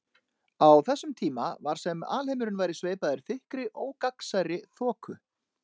Á þessum tíma var sem alheimurinn væri sveipaður þykkri ógagnsærri þoku.